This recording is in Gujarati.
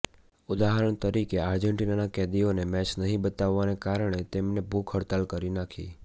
ઉદાહરણ તરીકે આર્જેન્ટિનાના કેદીઓને મેચ નહીં બતાવવાને કારણે તેમને ભૂખ હડતાલ કરી નાખી